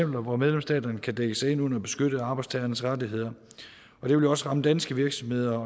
hvor medlemsstaterne kan dække sig ind under at beskytte arbejdstagernes rettigheder og det vil jo også ramme danske virksomheder